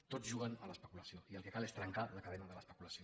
tots juguen a l’especulació i el que cal és trencar la cadena de l’especulació